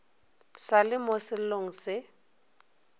sa le mo sellong se